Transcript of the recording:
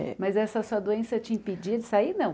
É. Mas essa sua doença te impedia de sair, não?